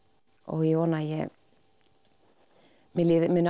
ég vona að mér líði